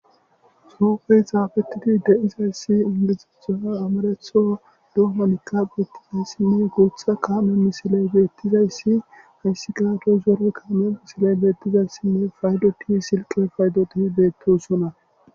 soofey xaafettidi de7izayssi indiziethaha amaretho duhonikka bettizayssinne guutha kaame misiley beettizayssi hayssi gaato zoro kaame misiley beettizayssinne faydo ki silqe faydoti beettosuna